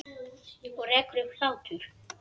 Og rekur upp hlátur.